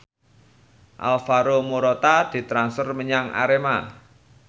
Alvaro Morata ditransfer menyang Arema